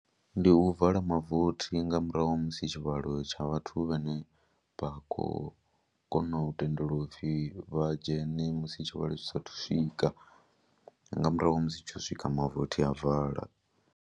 Ndi u vala mavothi nga murahu musi tshivhalo tsha vhathu vhane vha khou kona u tendelwa u pfhi vha dzhene musi tshivhalo tshi saathu u swika nga murahu musi tsho swika mavothi a vala.